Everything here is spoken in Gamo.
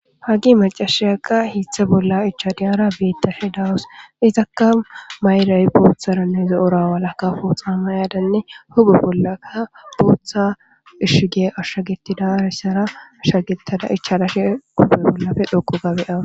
hagi macashiyaka hiithe bolla ichadiyara beettashi dawus izakka mayray booththaranne zo7ora walaka fuuxa ma yaadanne hubu bollakka bootha ishgee ashshagetida rishara ashshagettada ichalashe kufe bollafe dhoqo gabe awa